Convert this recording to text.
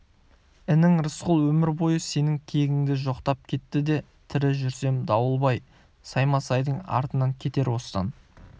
інің рысқұл өмір бойы сенің кегіңді жоқтап кетті де тірі жүрсем дауылбай саймасайдың артынан кетер осыдан